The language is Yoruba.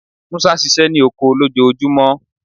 Musa ṣiṣẹ ni oko lojoojumọ